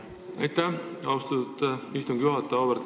Aitäh, austatud istungi juhataja!